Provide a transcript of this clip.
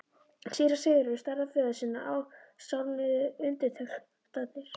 Síra Sigurði starði á föður sinn og sárnuðu undirtektirnar.